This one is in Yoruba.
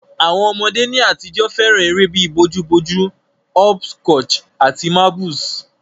Àwon ọmọdé ní àtijọ́ fẹ́ràn eré bi bojú bojú, hopscotch àti marbles